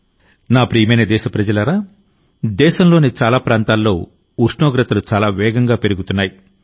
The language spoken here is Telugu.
నా ప్రియమైన దేశప్రజలారాదేశంలోని చాలా ప్రాంతాల్లో ఉష్ణోగ్రతలు చాలా వేగంగా పెరుగుతున్నాయి